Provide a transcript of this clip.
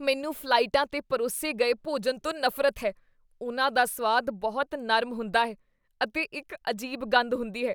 ਮੈਨੂੰ ਫ਼ਲਾਈਟਾਂ 'ਤੇ ਪਰੋਸੇ ਗਏ ਭੋਜਨ ਤੋਂ ਨਫ਼ਰਤ ਹੈ। ਉਹਨਾਂ ਦਾ ਸੁਆਦ ਬਹੁਤ ਨਰਮ ਹੁੰਦਾ ਹੈ ਅਤੇ ਇੱਕ ਅਜੀਬ ਗੰਧ ਹੁੰਦੀ ਹੈ।